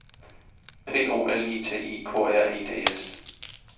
P O L I T I K R E D S